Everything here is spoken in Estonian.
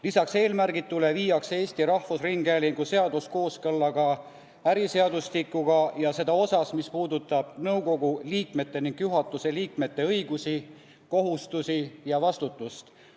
Lisaks eelmärgitule viiakse Eesti Rahvusringhäälingu seadus kooskõlla äriseadustikuga ja seda osas, mis puudutab nõukogu liikmete ning juhatuse liikmete õigusi, kohustusi ja vastutust.